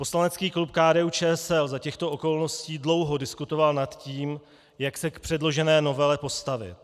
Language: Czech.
Poslanecký klub KDU-ČSL za těchto okolností dlouho diskutoval nad tím, jak se k předložené novele postavit.